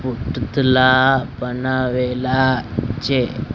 પુતલા બનાવેલા છે.